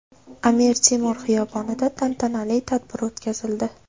Amir Temur xiyobonida tantanali tadbir o‘tkazildi.